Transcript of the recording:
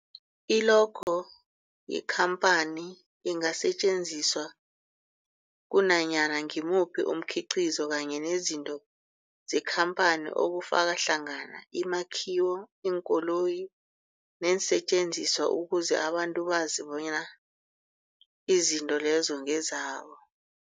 I-logo yekhamphani ingasetjenziswa kunanyana ngimuphi umkhiqizo kanye nezinto zekhamphani okufaka hlangana imakhiwo, iinkoloyi neensentjenziswa ukuze abantu bazi bonyana izinto lezo ngezabo.